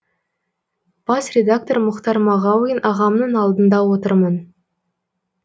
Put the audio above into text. бас редактор мұхтар мағауин ағамның алдында отырмын